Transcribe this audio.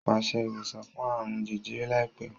Pèsè ìwòsàn fún àrùn jẹjẹrẹ láìpẹ́!